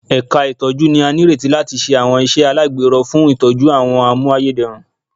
Ẹ̀ka ìtọ́jú ni a nírètí láti ṣe àwọn iṣẹ́ alagbero fún ìtọ́jú àwọn a mú ayédèrú